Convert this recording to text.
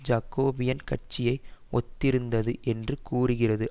jacobin கட்சியை ஒத்திருந்தது என்று கூறுகிறது